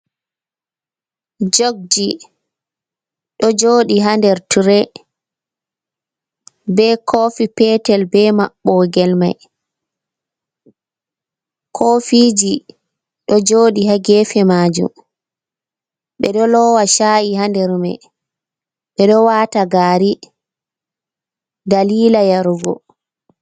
Jogji, ɗo jooɗi haa nder tire bee koofi peetel bee maɓɓogel mai, kofiiji ɗo jooɗi haa geefe maajum, ɓe ɗo loowa caa’i haa nder mai, ɓe ɗo waata gaari daliila yarugo.